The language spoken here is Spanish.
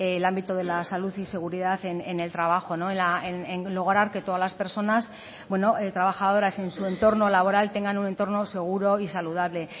el ámbito de la salud y seguridad en el trabajo en lograr que todas las personas trabajadoras en su entorno laboral tengan un entorno seguro y saludable